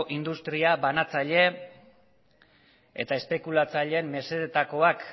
industria banatzaile eta espekulatzaileen mesedetakoak